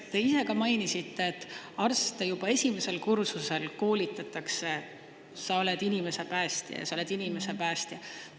Te ise ka mainisite, et arste juba esimesel kursusel koolitatakse, sa oled inimese päästja ja sa oled inimese päästja.